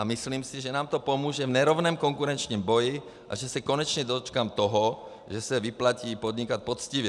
A myslím si, že nám to pomůže v nerovném konkurenčním boji a že se konečně dočkám toho, že se vyplatí podnikat poctivě."